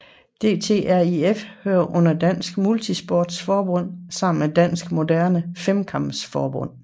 DTriF hører under Dansk MultiSport Forbund sammen med Dansk Moderne Femkamp Forbund